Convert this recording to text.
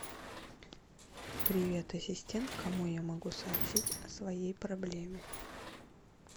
привет ассистент кому я могу сообщить о своей проблеме